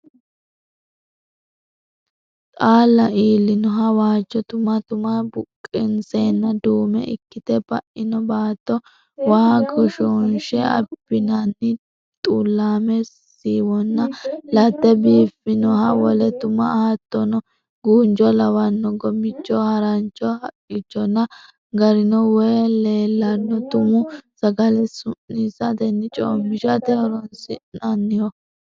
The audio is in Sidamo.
Xaalla iillinoha waajjo tuma, tuma buqqinseenna duume ikkite ba'ino baatto, waa goshoonshe abbinanni xullaame siiwonna latte biiffinoha wole tuma. Hattono guunjo lawanno gomicho, harancho haqqichonna garino wayi leellanno. Tumu sagale su'niissatenna coommishate horoonsi'nanniho.